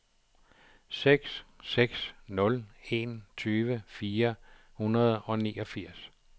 seks seks nul en tyve fire hundrede og niogfirs